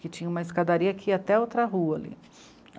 que tinha uma escadaria aqui até outra rua ali.